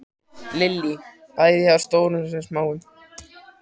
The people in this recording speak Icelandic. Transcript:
Lillý: Bæði hjá stórum sem smáum?